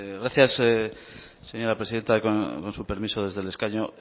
gracias señora presidenta con su permiso desde el escaño